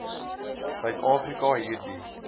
suid afrika hierdie